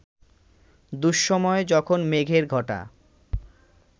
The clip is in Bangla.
দুঃসময়ে, যখন মেঘের ঘটা